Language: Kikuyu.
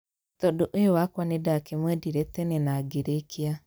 Tondũ ũyũ wakwa nĩ ndakĩmwendire tene nangĩrekia.